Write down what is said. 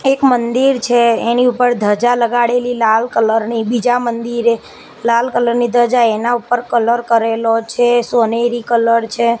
એક મંદિર છે એની ઉપર ધજા લગાડેલી લાલ કલર ની બીજા મંદિરે લાલ કલર ની ધજા એના ઉપર કલર કરેલો છે સોનેરી કલર છે.